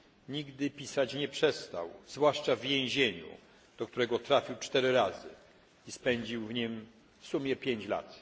Nigdy pisać nie przestał, zwłaszcza w więzieniu, do którego trafił cztery razy i spędził w nim w sumie 5 lat.